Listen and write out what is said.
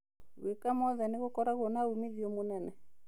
Gwĩka mothe nĩ gũkorago na umithio mũnene.